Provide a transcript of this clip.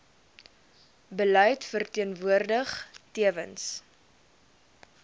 beleid verteenwoordig tewens